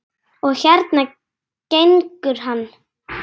Og hérna gengur hann.